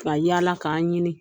Ka yala k' an ɲini.